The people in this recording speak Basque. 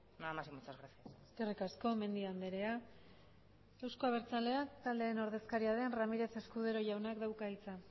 nada más y muchas gracias eskerrik asko mendia andrea euzko abertzaleak taldearen ordezkaria den ramírez escudero jaunak dauka hitza